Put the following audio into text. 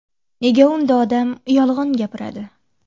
Nega unda odam yolg‘on gapiradi?